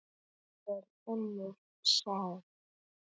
Það er önnur saga.